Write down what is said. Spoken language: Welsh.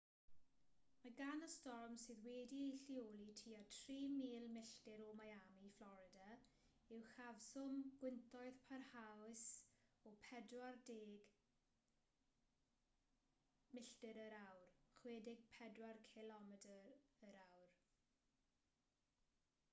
mae gan y storm sydd wedi'i lleoli tua 3,000 milltir o miami fflorida uchafswm gwyntoedd parhaus o 40 mya 64 kph